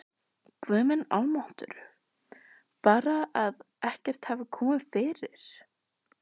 Guð minn almáttugur, bara að ekkert hafi komið fyrir!